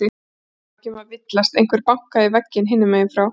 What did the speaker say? Það var ekki um að villast, einhver bankaði í vegginn hinum megin frá.